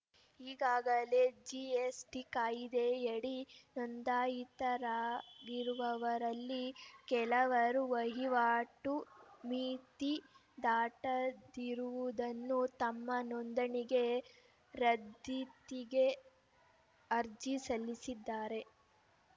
ಈಗಾಗಲೇ ಜಿಎಸ್‌ಟಿ ಕಾಯ್ದೆಯಡಿ ನೋಂದಾಯಿತರಾಗಿರುವವರಲ್ಲಿ ಕೆಲವರು ವಹಿವಾಟು ಮಿತಿ ದಾಟದಿರುವುದನ್ನು ತಮ್ಮ ನೋಂದಣಿಗೆ ರದ್ಧತಿಗೆ ಅರ್ಜಿ ಸಲ್ಲಿಸಿದ್ದಾರೆ